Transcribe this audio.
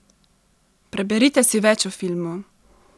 Preberite si več o filmu!